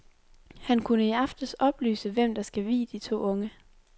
Han kunne i aftes oplyse, hvem der skal vie de to unge.